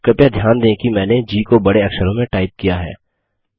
कृपया ध्यान दें कि मैंने जी को बड़े अक्षरों में टाइप किया है